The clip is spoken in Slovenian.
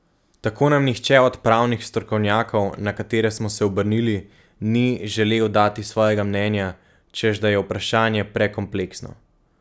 Tako nam nihče od pravnih strokovnjakov, na katere smo se obrnili, ni želel dati svojega mnenja, češ da je vprašanje prekompleksno.